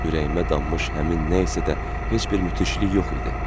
Ürəyimə dammış həmin nə isə də heç bir müthişlik yox idi.